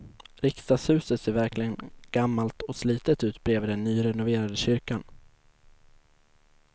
Riksdagshuset ser verkligen gammalt och slitet ut bredvid den nyrenoverade kyrkan.